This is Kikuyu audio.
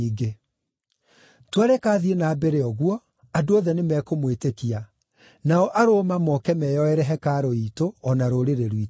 Twareka athiĩ na mbere ũguo, andũ othe nĩmekũmwĩtĩkia, nao Aroma moke meyoere hekarũ iitũ, o na rũrĩrĩ rwitũ.”